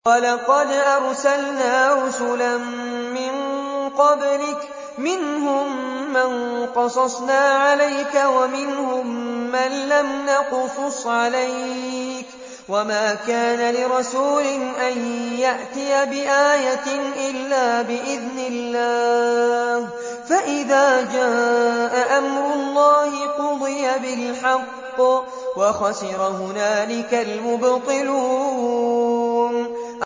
وَلَقَدْ أَرْسَلْنَا رُسُلًا مِّن قَبْلِكَ مِنْهُم مَّن قَصَصْنَا عَلَيْكَ وَمِنْهُم مَّن لَّمْ نَقْصُصْ عَلَيْكَ ۗ وَمَا كَانَ لِرَسُولٍ أَن يَأْتِيَ بِآيَةٍ إِلَّا بِإِذْنِ اللَّهِ ۚ فَإِذَا جَاءَ أَمْرُ اللَّهِ قُضِيَ بِالْحَقِّ وَخَسِرَ هُنَالِكَ الْمُبْطِلُونَ